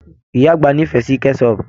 Ìyá àgbà n'ifẹ sí kẹsọpu.